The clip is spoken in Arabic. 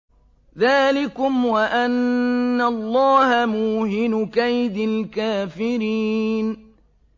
ذَٰلِكُمْ وَأَنَّ اللَّهَ مُوهِنُ كَيْدِ الْكَافِرِينَ